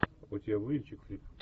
у тебя будет чик флик